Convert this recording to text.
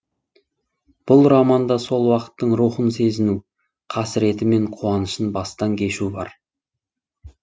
бұл романда сол уақыттың рухын сезіну қасіреті мен қуанышын бастан кешу бар